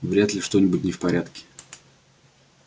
вряд ли что-нибудь не в порядке